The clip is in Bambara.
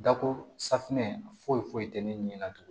Dako safunɛ foyi tɛ ne ɲinɛna tugun